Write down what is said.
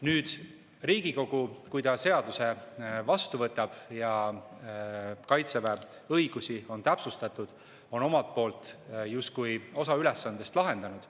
Kui Riigikogu seaduse vastu võtab ja Kaitseväe õigusi on täpsustatud, siis on Riigikogu omalt poolt justkui osa ülesandest lahendanud.